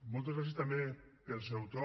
moltes gràcies també pel seu to